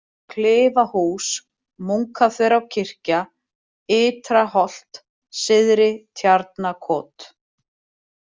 Klifahús, Munkaþverárkirkja, Yta-Holt, Syðri-Tjarnakot